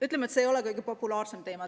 Ütleme, et see ei ole kõige populaarsem teema.